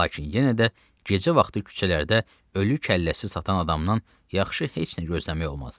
Lakin yenə də gecə vaxtı küçələrdə ölü kəlləsi satan adamdan yaxşı heç nə gözləmək olmazdı.